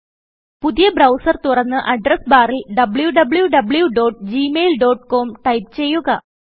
പുതിയ ബ്രൌസർ തുറന്ന് അഡ്രസ് ബാറിൽ wwwgmailcomടൈപ്പ് ചെയ്യുക